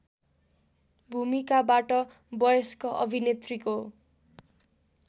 भूमिकाबाट वयस्क अभिनेत्रीको